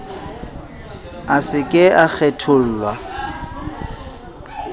a se ke a kgethollwa